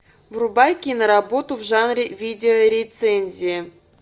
врубай киноработу в жанре видео рецензия